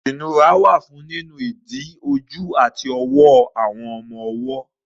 Ìnura wà fún nínu ìdí, ojú àti ọwọ́ àwọn ọmọ ọwọ́.